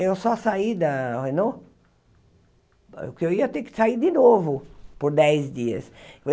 Eu só saí da Renault, porque eu ia ter que sair de novo por dez dias.